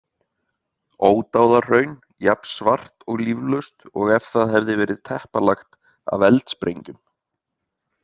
Ódáðahraun jafn svart og líflaust og ef það hefði verið teppalagt af eldsprengjum.